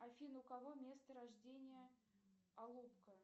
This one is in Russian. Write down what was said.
афина у кого место рождения алупка